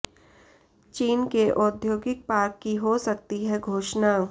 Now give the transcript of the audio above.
चीन के औद्योगिक पार्क की हो सकती है घोषणा